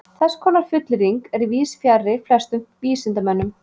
Þess konar fullyrðing er víðs fjarri flestum vísindamönnum.